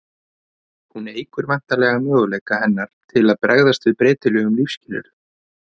hún eykur væntanlega möguleika hennar til að bregðast við breytilegum lífsskilyrðum